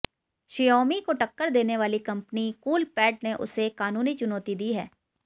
Xiaomi को टक्कर देने वाली कंपनी कूलपैड ने उसे कानूनी चुनौती दी है